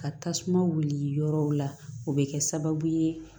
Ka tasuma wuli yɔrɔw la o bɛ kɛ sababu ye